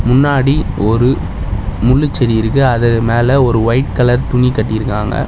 முன்னாடி ஒரு முள்ளுச்செடி இருக்கு அது மேல ஒரு ஒயிட் கலர் துணி கட்டிருக்காங்க.